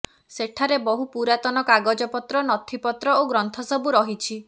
ସଠାରେ ବହୁ ପରୁରାତନ କାଗଜପତ୍ର ନଥିପତ୍ର ଓ ଗ୍ରନ୍ଥ ସବୁ ରହିଛି